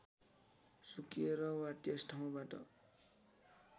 सुकेर वा त्यस ठाउँबाट